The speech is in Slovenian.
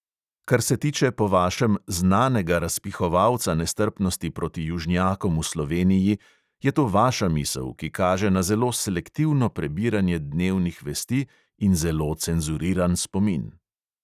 Kar se tiče po vašem "znanega razpihovalca nestrpnosti proti južnjakom v sloveniji", je to vaša misel, ki kaže na zelo selektivno prebiranje dnevnih vesti in zelo cenzuriran spomin.